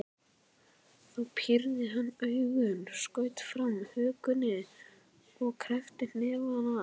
Þá pírði hann augun, skaut fram hökunni og kreppti hnefana.